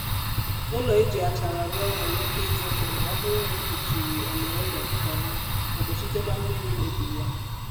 ụlọ e ji achara ruo nwere ike ịdị nma ma ọ bụrụ na e kpuchiri ele ụlọ nkọma ma gbochitekwa mmiri imebi ya